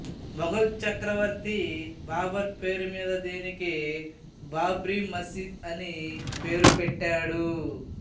మొగలు చక్రవర్తి బాబర్ పేరు మీద దీనికి బాబ్రీ మసీదు అని పేరు పెట్టాడు